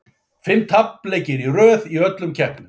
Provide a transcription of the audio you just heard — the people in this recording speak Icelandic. Fimm tapleikir í röð í öllum keppnum.